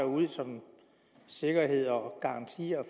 ud som sikkerhed og garanti